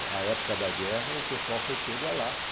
Na época da guerra, o pessoal foi pego a laço.